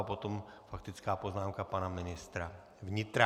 A potom faktická poznámka pana ministra vnitra.